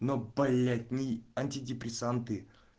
ну блять не антидепрессанты